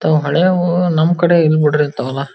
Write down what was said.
ತಾವ್ ಹಳೆಯವು ನಮ್ ಕಡೆ ಇಲ್ಲ ಬುಡ್ರಿ ನಮ್ ತವ-